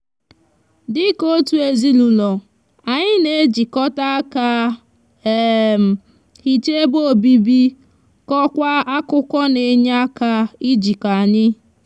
dika otu ezinaulo anyi n'ejikota aka hicha ebe obibi kokwa akuko n'eye aka ijiko anyi